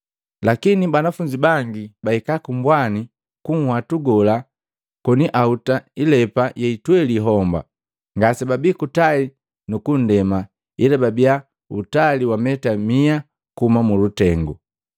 Lakini banafunzi bangi bala bahika ku mbwani ku nhwatu gola koni ahuta ilepa yeitweli homba, ngasebabii kutali nukundema, ila babiya utali wa meta miya kuhuma mulutengu.